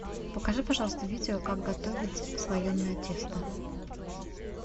покажи пожалуйста видео как готовить слоеное тесто